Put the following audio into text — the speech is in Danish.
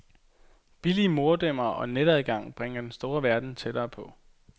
Billige modemer og netadgang bringer den store verden tættere på.